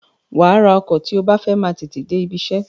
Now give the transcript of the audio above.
Wàá ra ọkọ̀ tí o bá fẹ́ máa tètè dé ibiṣẹ́.